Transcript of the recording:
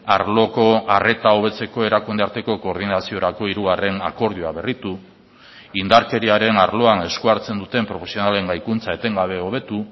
arloko arreta hobetzeko erakunde arteko koordinaziorako hirugarren akordioa berritu indarkeriaren arloan eskuhartzen duten profesionalen gaikuntza etengabe hobetu